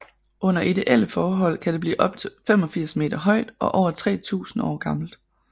Under ideelle forhold kan det blive op til 85 meter højt og over 3000 år gammelt